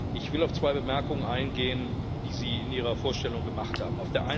Ich will auf zwei Bemerkungen eingehen, die Sie in Ihrer Vorstellung gemacht haben.